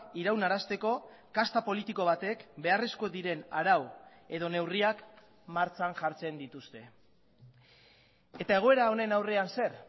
iraunarazteko kasta politiko batek beharrezko diren arau edo neurriak martxan jartzen dituzte eta egoera honen aurrean zer